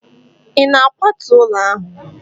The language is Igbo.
ị na-akwatu ụlọ ahụ?